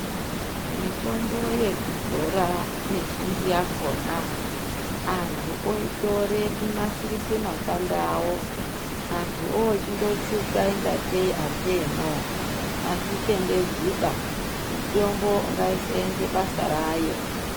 Mitombo yekudzora mizhinji yakona anthu oitore kunasirisa makanda awo anthu ochindotsvuka kunge ameno azvitendedzwiba mitombo ngaisenze basa rayo.